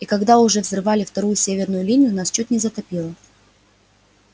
и когда уже взрывали вторую северную линию нас чуть не затопило